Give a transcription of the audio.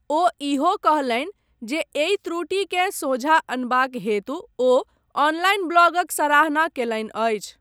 ओ इहो कहलनि जे एहि त्रुटिकेँ सोझा अनबाक हेतु ओ ऑनलाइन ब्लॉगक सराहना कयलनि अछि।